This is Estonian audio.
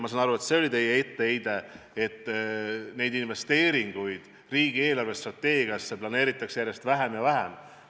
Ma saan aru, et teie etteheide oli see, et neid investeeringuid planeeritakse riigi eelarvestrateegiasse järjest vähem ja vähem.